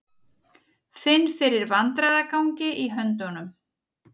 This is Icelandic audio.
Finn fyrir vandræðagangi í höndunum.